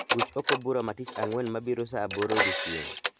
Ruch oko bura ma tich ang'wen mabiro saa aboro odiechieng'